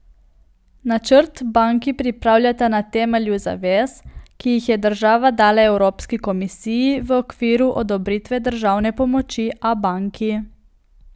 Načrt banki pripravljata na temelju zavez, ki jih je država dala Evropski komisiji v okviru odobritve državne pomoči Abanki.